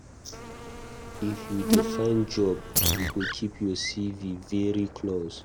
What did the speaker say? If you dey find job, you go keep your CV very close.